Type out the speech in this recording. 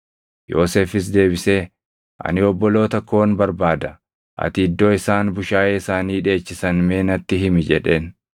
Yoosefis deebisee, “Ani obboloota koon barbaada. Ati iddoo isaan bushaayee isaanii dheechisan mee natti himi” jedheen.